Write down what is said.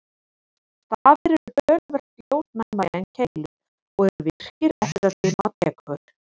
Stafir eru töluvert ljósnæmari en keilur og eru virkir eftir að dimma tekur.